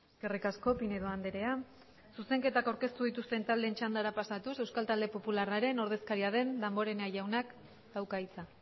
eskerrik asko pinedo andrea zuzenketak aurkeztu dituzten taldeen txandara pasatuz euskal talde popularraren ordezkaria den damborenea jaunak dauka hitza